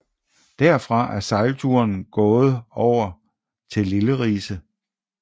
Derfra er sejlturen gået over til Lille Rise